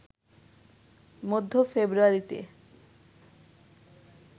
মধ্য ফেব্রুয়ারিতে